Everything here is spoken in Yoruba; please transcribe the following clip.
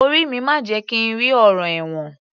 Orí mi má jẹ̀ kí n rí ọ̀ràn ẹ̀wọ̀n